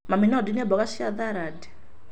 Mami, no ndinie mboga cia sarandi?